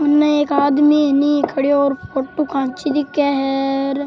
उनने एक आदमी खड़े और फोटो खैंच रखे है।